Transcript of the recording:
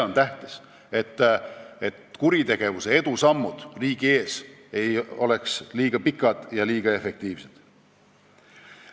On tähtis, et kuritegevuse edusammud riigi ees ei oleks liiga pikad ja liiga efektiivsed.